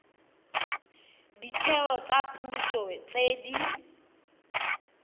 ditheo tsa puso tse di